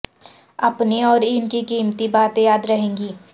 اپنی اور ان کی قیمتی باتیں یاد رہیں گی